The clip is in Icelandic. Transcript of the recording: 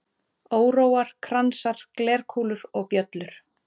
Óróar, kransar, glerkúlur og bjöllur.